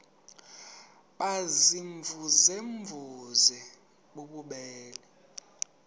baziimvuze mvuze bububele